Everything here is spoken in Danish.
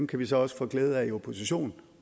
kan man så også få glæde af i opposition